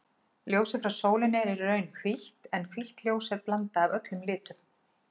Ljósið frá sólinni er í raun hvítt en hvítt ljós er blanda af öllum litum.